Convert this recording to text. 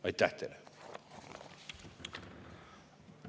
Aitäh teile!